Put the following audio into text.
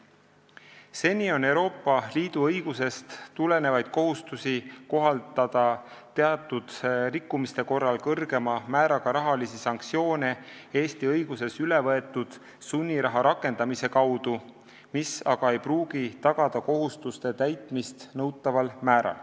Seni on Euroopa Liidu õigusest tulenevaid kohustusi kohaldada teatud rikkumiste korral kõrgema määraga rahalisi sanktsioone Eesti õigusesse üle võetud sunniraha rakendamise kaudu, mis aga ei pruugi tagada kohustuste täitmist nõutaval määral.